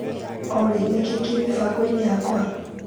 Olĩ nĩkĩĩ kĩ mĩbango-inĩ yakwa?